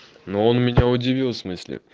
ну он меня удивил в смысле